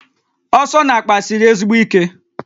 Asọ n'akpa siri ezigbo ike